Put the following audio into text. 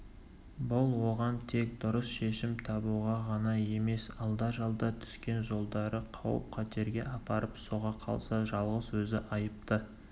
бұл оған тек дұрыс шешім табуға ғана емес алда-жалда түскен жолдары қауіп-қатерге апарып соға қалса жалғыз өзі айыпты